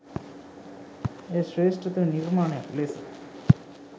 එය ශ්‍රේෂ්ටතම නිර්මාණයක් ලෙස